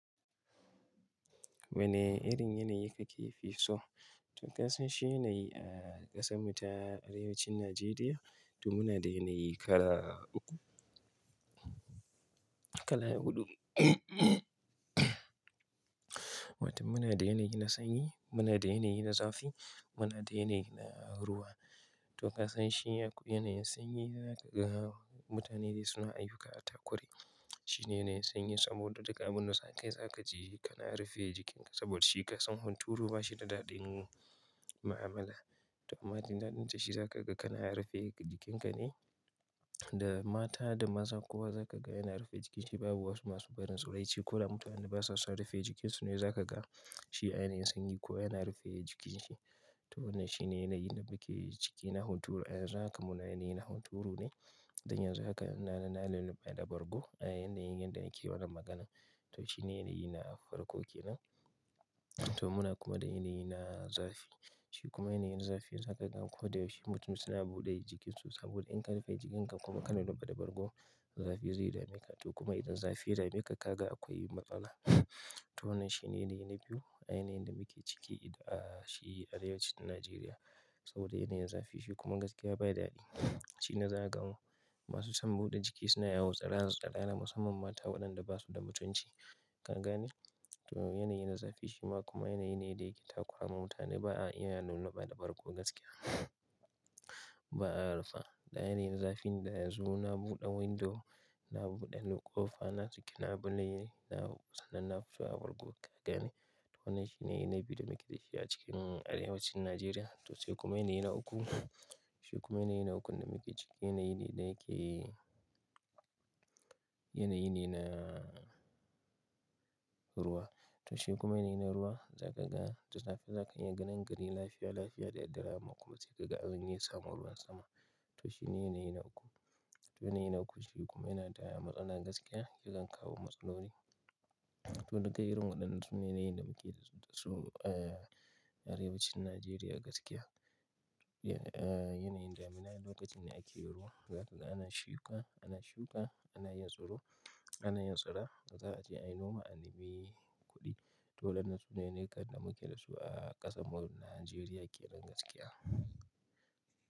Wane irin yanayi kake fi so? To kasance shi yanayi a ƙasan mu ta arewacin Najeriya, to muna da yanayi kala uku, kala huɗu. Wato muna da yanayi na sanyi, muna da yanayi na zafi, muna da yanayi na ruwa. To kasance shi yanayi sanyi za ka ga mutanen da suna ayyuka a takure. Shi ne yanayi sanyi saboda duka abin da za ka yi za ka ji kana rufe jikinka saboda shi ƙasan hunturu ba shi da daɗin mu'amala. To amma dandalin ta shi za ka ga kana rufe jikinka ne. Da mata da maza kuwa za ka ga yana rufe jikin shi. Babu wasu masu barin tsiraici ko da mutanen basa son rufe jikin su ne za ka ga shi a yanayi sanyi ko yana rufe jikin shi. To wannan shi ne yanayi da muke ciki na hunturu. A yanzu haka muna a yanayi na hunturu ne. Danya za ka na-na-nalunɓe da bargo a yanayin da yake wannan magana. To shi ne yanayi na farko ke nan. To muna kuma da yanayi na zafi. Shi kuma yanayin zafi za ka gan ko da yaushe mutum suna buɗe jikin su saboda in ka rufe jikinka kuma kana lunɓe da bargo, zafi zai dame ka. To kuma idan zafi ya dame ka, ka ga akwai matsala. To wannan shi ne yanayi na biyu, yanayin da muke ciki a shi arewacin Najeriya saboda yanayin zafi shi kuma gaskiya bai daɗe. Shi na za a ga masu son buɗe jiki suna yawo tsirara-tsirara musamman mata waɗanda ba su da mutunci. Ka gane? To yanayi na zafi shi ma kuma yanayi ne da yake takowa mutane. Ba a iya lulluɓa da bargo gaskiya, ba a rufa. Da yanayin zafi ne, da yanzu na buɗe window, na buɗe ƙofa, na saki labuke, na sanan na fito a bargo. Ka gane? To wannan shi ne yanayi na biyu da muke da shi a cikin arewacin Najeriya. To sai kuma yanayi na uku. Shi kuma yanayi na uku da muke ciki yanayi ne da yake yanayi ne na ruwa. To shi kuma yanayi na ruwa za ka ga da safe za ka iyi ganin gari lafiya lafiya da daddare amma kuma sai ka ga an samu ruwan sama. To shi ne yanayi na uku. To yanayi na uku shi kuma yana da matsala gaskiya, ya kan kawo matsaloli. To duka irin waɗannan su ne yanayi da muke da su a arewacin Najeriya gaskiya. A yanayin damuna lokacin ne ake ruwa. Za ka ga ana shuka, ana shuka, ana yin tsiro, ana yin tsira, za a je a yi noma, a nimi kuɗi. To waɗannan su ne yanayikan da muke da su a ƙasar mu Najeriya keran gaskiya.